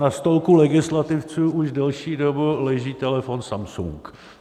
Na stolku legislativců už delší dobu leží telefon Samsung.